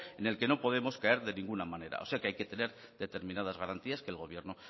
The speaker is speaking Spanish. en el que no podemos caer de ninguna manera o sea que hay que tener determinadas garantías que el gobierno